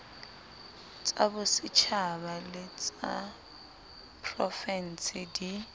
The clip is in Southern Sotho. tsabosetjhaba le ysa profense di